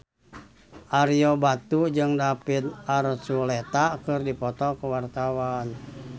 Ario Batu jeung David Archuletta keur dipoto ku wartawan